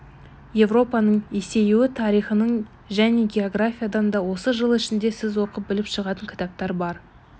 европаның есеюі тарихынан және географиядан да осы жыл ішінде сіз оқып біліп шығатын кітаптар бар